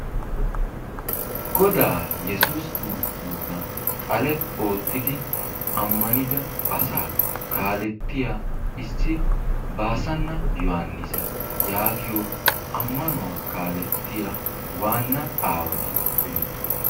Godaa yessuussi kirsttoossa xale oottidi ammanida asaa kaalettiya issi Baassanna Yaanissa yaagiyo ammanuwa kaalettiya waanna aawati beetoososna.